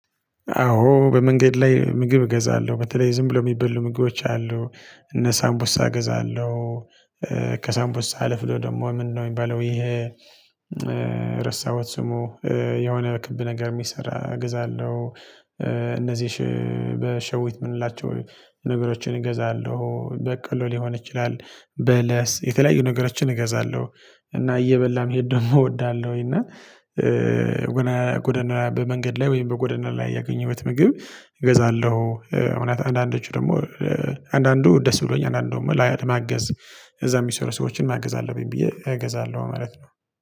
አዎ በመንገድ ላይ ምግብ እገዛለ፤ በተለይ ዝም ብሎ የሚበሉ ምግቦች አሉ፤ እነ ሳምቡሳ እገዛለሁ ከሳምፖሳ አለፍ ብሎ ደግሞ ምንድነው የሚባለው ይሄ ረሳሁት ስሙ የሆነ ክብ ነገር የሚሰራ እገዛለሁ፤ እነዚህሽ በሸዊት የምንላቸው ነገሮችን እገዛለሁ በቀሎ ሊሆን ይችላል በለስ የተለያዩ ነገሮችን እገዛለሁ እና እየበላም መሄድ ደሞ እወዳለሁ እና ጎደና በመንገድ ላይ ወይም በጎደና ላይ ያገኘሁት ምግብ እገዛለሁ፤ እውነት አንዳንዶቹ ደግሞ አንዳንዱ ደስ ብሎኝ አንዳንዱ ላይ ለማገዝ እዛ የሚሰሩ ሰዎችን ማገዝ አለብኝ ብዬ እገዛለሁ ማለት ነው።